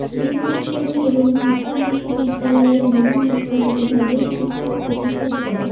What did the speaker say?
মনোবিজ্ঞানী এবং ঢাকা বিশ্ববিদ্যারয়ের মনোবিজ্ঞান বিভাগের শিক্ষক প্রফেসর ড